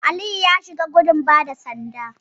Aliyu ya shiga gudun bada sanda.